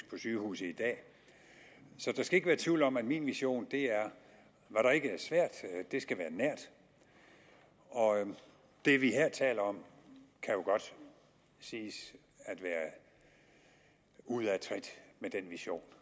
på sygehusene så der skal ikke være tvivl om at min vision er svært skal være nært og det vi her taler om kan jo godt siges at være ude af trit med den vision